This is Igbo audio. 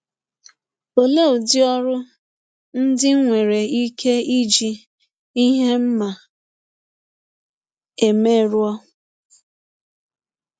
Ọlee ụdị ọrụ ndị m nwere ike iji ihe ndị m ma eme rụọ?